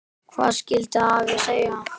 Hvað skyldi afi segja?